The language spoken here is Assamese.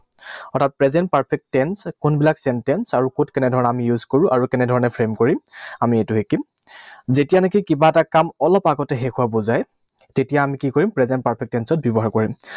অৰ্থাৎ present perfect tense কোনবিলাক sentence আৰু কত কেনেধৰণেৰে আমি use কৰোঁ আৰু কেনে ধৰণেৰে frame কৰিম, আমি সেইটো শিকিম। যেতিয়া নেকি কিবা এটা কাম অলপ আগতে শেষ হোৱা বুজায়, তেতিয়া আমি কি কৰিম? Present perfect tense ত ব্যৱহাৰ কৰিম।